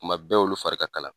Kuma bɛɛ olu fari ka kalan.